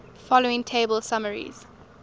following table summarizes